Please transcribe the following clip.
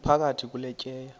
iphakathi kule tyeya